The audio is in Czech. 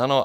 Ano.